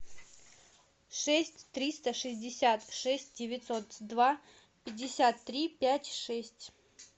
шесть триста шестьдесят шесть девятьсот два пятьдесят три пять шесть